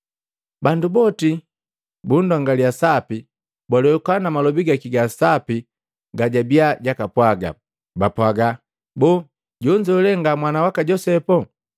Bandu boti bundongaliya sapi, balwehuka na malobi gaki ga sapi gajabia jakapwaga. Bapwaga, “Boo, jonzo le nga mwana waka Josepu?”